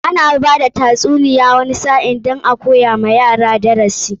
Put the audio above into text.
Ana bada tatsuniya wani sa'in don a koya wa yara darasi.